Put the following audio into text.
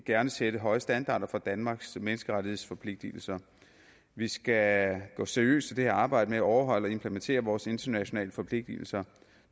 gerne sætte høje standarder for danmarks menneskerettighedsforpligtelser vi skal gå seriøst til det her arbejde med at overholde og implementere vores internationale forpligtelser